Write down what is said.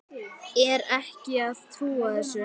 Er ekki að trúa þessu.